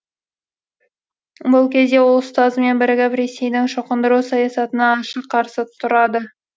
бұл кезде ол ұстазымен бірігіп ресейдің шоқындыру саясатына ашық қарсы тұрады